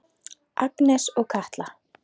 Agnes og Katla.